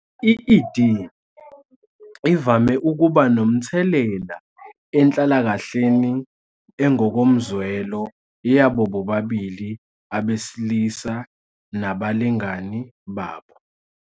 I-ED ivame ukuba nomthelela enhlalakahleni engokomzwelo yabo bobabili abesilisa nabalingani babo.